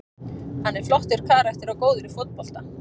Hann er flottur karakter og góður í fótbolta.